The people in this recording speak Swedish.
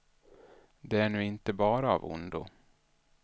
Det är nu inte bara av ondo.